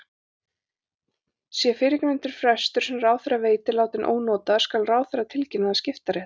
Sé fyrrgreindur frestur, sem ráðherra veitir, látinn ónotaður skal ráðherra tilkynna það skiptarétti.